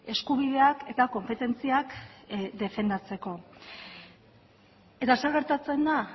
eskubideak eta konpetentziak defendatzeko eta zer gertatzen da